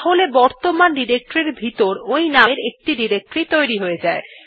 তাহলে বর্তমান ডিরেক্টরী এর ভিতর ওই নামের একটি ডিরেক্টরী তৈরী হয়ে যাবে